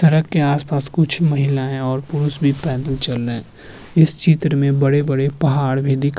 सड़क के आस-पास कुछ महिलाएँ और पुरुष भी पेदल चल रहें हैं इस चित्र में बड़े-बड़े पहाड़ भी दिख --